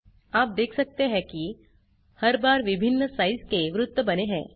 आप देख सकते हैं की हर बार विभिन्न साइज के वृत्त बने हैं